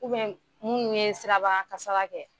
U bɛn mun ye siraba kasara kɛ